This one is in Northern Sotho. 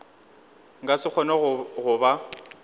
nka se kgone go ba